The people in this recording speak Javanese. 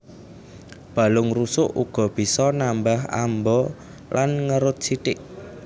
Balung rusuk uga bisa nambah amba lan ngerut sithik